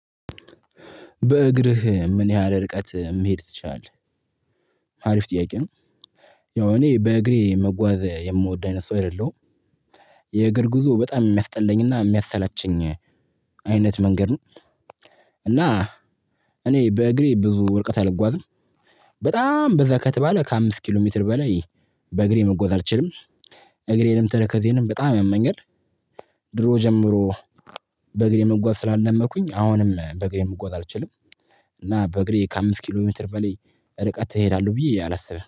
በእግርህ ምን ያህል ርቀት መሄድ ትችላለህ? ሀሪፍ ጥያቄ ነው ያው እኔ በእግሬ መጓዝ የምወድ አይነት ሰው አይደለሁም የእግር ጉዞ በጣም የሚያስጠለኝና የሚያሰላቸኝ አይነት መንገድ ነው። እና እኔ በእግሬ ብዙ ርቀት አልጓዝም። በጣም በዛ ከተባለ ከአምስት ኪሎ ሜትር በላይ በእግሬ መጎዝ አልችልም። እግሬንም ተረከዜንም በጣም ያመኛል። ድሮ ጀምሮ በእግሬ መጓዝ ስላለመድኩኝ አሁንም በእግሬ መጓዝ አልችልም። እና በእግሬ ከአምስት ኪሎ ሜትር በላይ ርቀት እሄዳለሁ ብዬ አላስብም